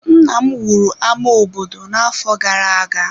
Nna m wuru ámá obodo n'afọ gara-aga.